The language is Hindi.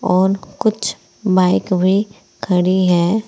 और कुछ बाइक भी खड़ी है।